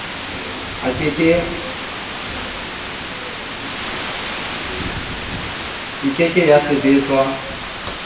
e ke ke ya sebetswa